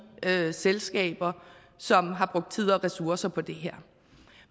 selskaber som har brugt tid og ressourcer på det her